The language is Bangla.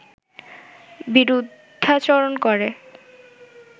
বিরুদ্ধাচরণ করে